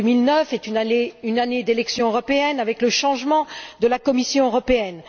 L'année 2009 est une année d'élections européennes, avec le changement de la Commission européenne.